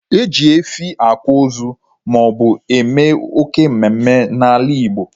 E ji efi akwa ozu maobu eme oké mmemme n'ala igbo